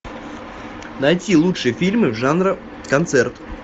найти лучшие фильмы жанра концерт